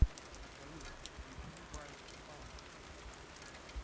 салют включи вайт панк